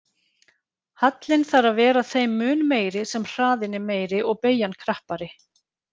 Hallinn þarf að vera þeim mun meiri sem hraðinn er meiri og beygjan krappari.